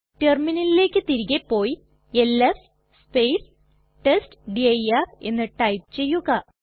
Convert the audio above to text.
റ്റെർമിനലിലെക് തിരികെ പോയി LS test dir എന്ന് ടൈപ്പ് ചെയ്യുക